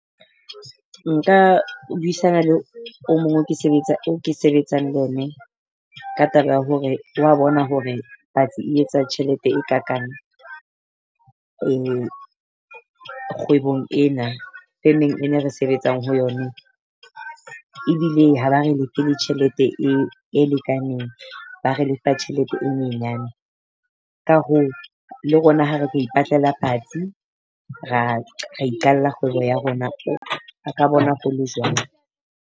Nka buisana le o mong o ke sebetsa o ke sebetsang le yene ka taba ya hore wa bona hore patsi e etsa tjhelete e kakang. Kgwebong ena femeng e ne re sebetsang ho yone, ebile ha ba re lefe le tjhelete e e lekaneng. Ba re lefa tjhelete e nyenyane. Ka hoo le rona ha re tlo ipatlela patsi ra ra iqalla kgwebo ya rona re ka bona ho le jwalo.